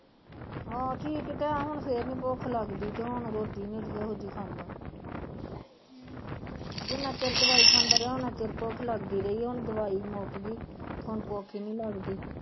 ਆਹੋ ਠੀਕ ਤਾ ਹੈ ਹੁਣ ਫਿਰ ਨਹੀਂ ਭੁੱਖ ਲਗਦੀ ਤੇ ਹੁਣ ਰੋਟੀ ਨਹੀਂ ਅੜੀਏ ਓਹੋ ਜਿਹੀ ਖਾਂਦਾ ਜਿਨ੍ਹਾਂ ਚਿਰ ਦਵਾਈ ਖਾਂਦਾ ਰਹੀਆਂ ਓਹਨਾ ਚਿਰ ਭੁੱਖ ਲਗਦੀ ਰਹੀ ਹੁਣ ਦਵਾਈ ਮੁੱਕ ਗਈ। ਹੁਣ ਭੁੱਖ ਈ ਨਹੀਂ ਲਗਦੀ।